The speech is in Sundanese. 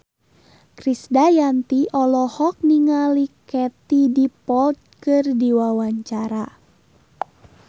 Krisdayanti olohok ningali Katie Dippold keur diwawancara